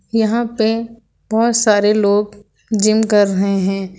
यहां पे बहोत सारे लोग जिम कर रहे है।